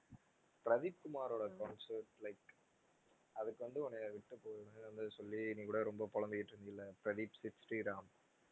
பிரதீப் குமாரோட concert like அதுக்கு வந்து உன்னைய விட்டுட்டு போனேன்னு வந்து சொல்லி நீ கூட ரொம்ப புலம்பிக்கிட்டு இருந்தல்ல பிரதீப் சிட் ஸ்ரீராம்